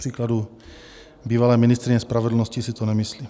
Kupříkladu bývalé ministryně spravedlnosti si to nemyslí.